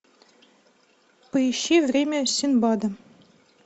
поищи время синдбада